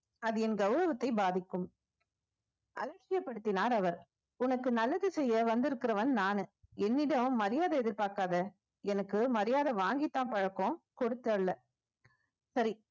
அது என் கௌரவத்தை பாதிக்கும் அலட்சியப்படுத்தினார் அவர் உனக்கு நல்லது செய்ய வந்திருக்கிறவன் நானு என்னிடம் மரியாதை எதிர்பார்க்காதே எனக்கு மரியாதை வாங்கித்தான் பழக்கம் கொடுத்து அல்ல சரி